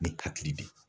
Ni hakili bɛ yen